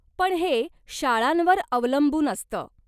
पण हे शाळांवर अवलंबून असंत.